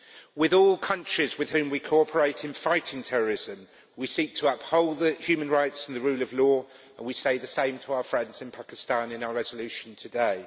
With all countries with whom we cooperate in fighting terrorism, we seek to uphold human rights and the rule of law, and we say the same to our friends in Pakistan in our resolution today.